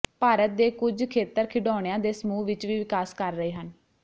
ਭਾਰਤ ਦੇ ਕੁਝ ਖੇਤਰ ਖਿਡੌਣਿਆਂ ਦੇ ਸਮੂਹ ਵਿੱਚ ਵੀ ਵਿਕਾਸ ਕਰ ਰਹੇ ਹਨ